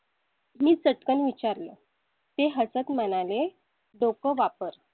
मी चटकन विचारलं ते हसत म्हणाले. डोकं वापर.